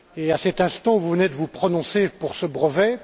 À cet instant, vous venez de vous prononcer pour ce brevet.